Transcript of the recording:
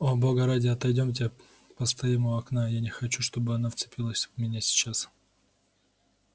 о бога ради отойдёмте постоим у окна я не хочу чтобы она вцепилась в меня сейчас